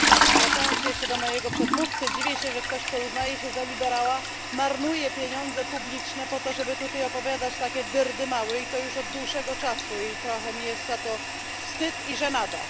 Zwracając się jeszcze do mojego przedmówcy, dziwię się, że ktoś, kto uznaje się za liberała, marnuje pieniądze publiczne po to, żeby tutaj opowiadać takie dyrdymały, i to już od dłuższego czasu, i trochę jest mi za to wstyd, i żenada.